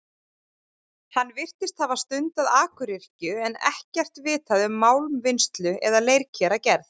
Hann virtist hafa stundað akuryrkju, en ekkert vitað um málmvinnslu eða leirkeragerð.